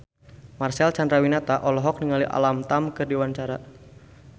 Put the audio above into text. Marcel Chandrawinata olohok ningali Alam Tam keur diwawancara